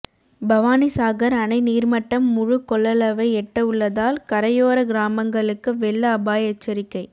பவானிசாகர் அணை நீர்மட்டம் முழுகொள்ளளவை எட்ட உள்ளதால் கரையோர கிராமங்களுக்கு வெள்ள அபாய எச்சரிக்கை